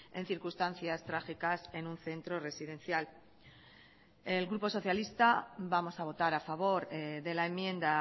en circunstancias trágicas en un centro residencial el grupo socialista vamos a votar a favor de la enmienda